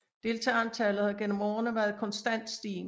Deltagerantallet har gennem årene været konstant stigende